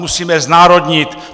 Musíme znárodnit!